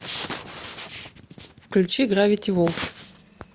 включи гравити фолз